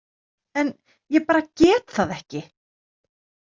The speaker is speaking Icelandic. En ég bara get það ekki.